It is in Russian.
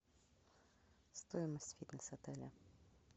стоимость фитнес отеля